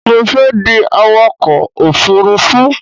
Mo fẹ́ di awakọ̀ òfurufú